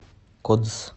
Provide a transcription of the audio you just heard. кодс